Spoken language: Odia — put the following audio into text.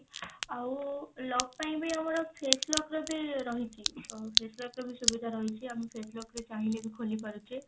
ଆଉ lock ପାଇଁ ବି ଆମର face lock ର ବି ରହିଛି ଅ face lock ର ବି ସୁବିଧା ରହିଛି ଆମେ face lock ରେ ଚାହିଁଲେ ବି ଖୋଲିପାରୁଛେ।